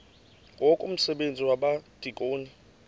ngoku umsebenzi wabadikoni